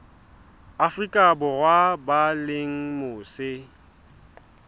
afrika borwa ba leng mose